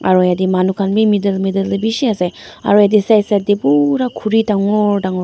aru jatte manu khan bhi middle middle te bisi ase aru etu side side te pura Khori dagur dagur--